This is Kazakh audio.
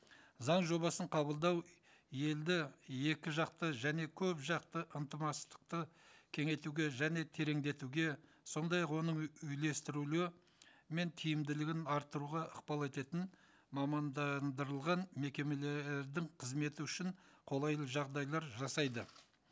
заң жобасын қабылдау елді екіжақты және көпжақты кеңейтуге және тереңдетуге сондай ақ оның үйлестірулі мен тиімділігін арттыруға ықпал ететін мамандандырылған мекемелердің қызметі үшін қолайлы жағдайлар жасайды